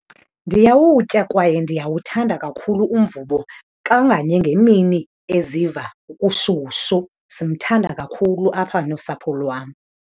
Ndiyawutya kwaye ndiyawuthanda kakhulu umvubo, kanganye ngemini eziva kushushu. Simthanda kakhulu apha nosapho lwam.